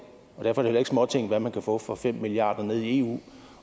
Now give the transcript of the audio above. derfor er det heller ikke småting hvad man kan få for fem milliarder nede i eu